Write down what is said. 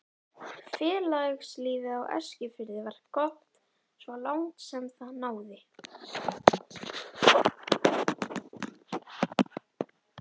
Félagslífið á Eskifirði var gott svo langt sem það náði.